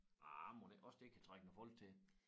Ah mon ikke også det kan trække nogle folk til